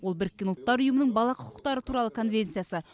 ол біріккен ұлттар ұйымының бала құқықтары туралы конвенциясы